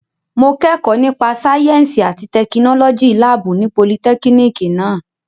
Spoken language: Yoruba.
Mo kẹ́kọ̀ọ́ nípa sáyẹ́ǹsì àti tẹkinọ́lọ́jì láàbù ní politẹ́kínìkì náà.